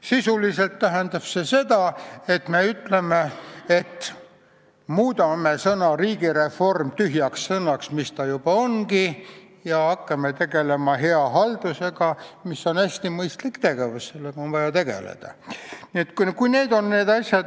Sisuliselt tähendab see seda, et me muudame sõna "riigireform" tühjaks sõnaks, mida ta juba ongi, ja hakkame tegelema hea haldusega, mis on hästi mõistlik tegevus, sellega on vaja tegeleda.